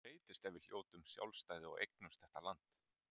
Hvað breytist ef við hljótum sjálfstæði og eignumst þetta land.